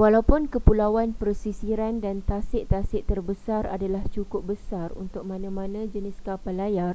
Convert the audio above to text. walaupun kepulauan pesisiran dan tasik-tasik terbesar adalah cukup besar untuk mana-mana jenis kapal layar